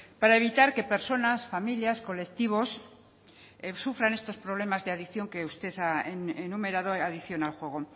para evitar que personas familias y colectivos sufran estos problemas de adicción que usted ha enumerado de adicción al juego